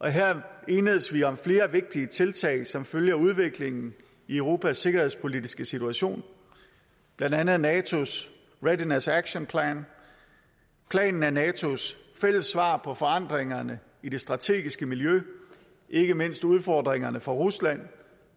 her enedes vi om flere vigtige tiltag som følge af udviklingen i europas sikkerhedspolitiske situation blandt andet natos readiness action plan planen er natos fælles svar på forandringerne i det strategiske miljø ikke mindst udfordringerne fra rusland